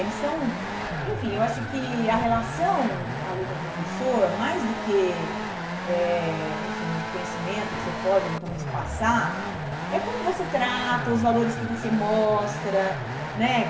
Eles são, enfim, eu acho que a relação aluno-professor, mais do que, eh enfim, um conhecimento que você pode eventualmente passar, é como você trata, os valores que você mostra, né?